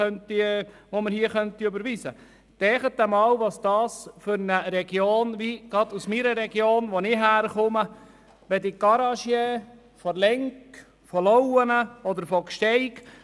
Denken Sie einmal an Regionen wie jene, aus der ich komme, an Garagisten aus Lenk, Lauenen oder Gsteig.